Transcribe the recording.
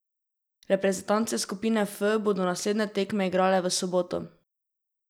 Reprezentance skupine F bodo naslednje tekme igrale v soboto.